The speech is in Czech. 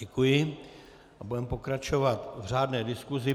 Děkuji a budeme pokračovat v řádné diskusi.